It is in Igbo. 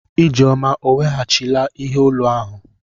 Ijeoma ọ weghachila ihe olu ahụ?